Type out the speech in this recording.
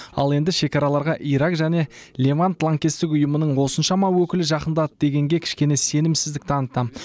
ал енді шекараларға ирак және левант лаңкестік ұйымының осыншама өкілі жақындады дегенге кішкене сенімсіздік танытамын